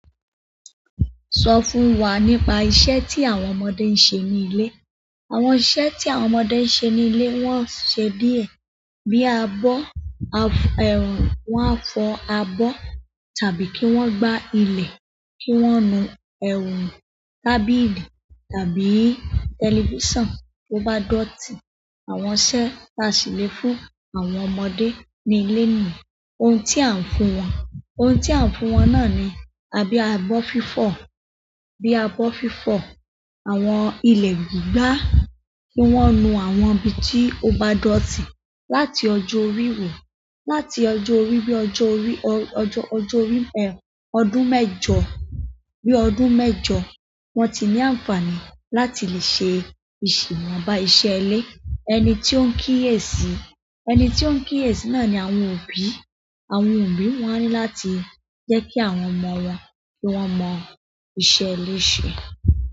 Sọ fún wa nípa iṣẹ́ tí àwọn ọmọdé ń ṣe ní ilé. Àwọn iṣẹ́ tí àwọn ọmọdé ń ṣe ní ilé, wọ́n ń ṣe díẹ̀ bíi abọ́, wọ́n á fọ abọ́, tàbí kí wọ́n gbá ilẹ̀, kí wọ́n nu tábìlì tàbí tẹlifíṣàn tó bá dọ̀tí. Àwọn iṣẹ́ tá a sì lè fún àwọn ọmọdé ní ilé nìyí. Ohun tí à ń fún wọn, ohun tí à ń fún wọn náà ni, bí abọ́ fífọ̀, bí abọ́ fífọ̀ àwọn ilẹ̀ gbígbà kí wọ́n nu àwọn ibi tí ó bá dọ̀tí. Láti ọjọ́ orí wò, láti ọjọ́ orí, bí ọjọ́ orí, ọjọ́, ọjọ́ orí, ọdún mẹ́jọ, bí ọdún mẹ́jọ, wọ́n ti ní àǹfààní láti lè ṣe ìṣ-- iwọ̀nbá iṣẹ́ ilé. Ẹni tí ó ń kíyèsí, ẹni tí ó ń kíyèsí náà ni àwọn òbí. Àwọn òbí wọ́n á ní láti jẹ́ kí àwọn ọmọ wọn, kí wọ́n mọ iṣẹ́ ilé ṣe.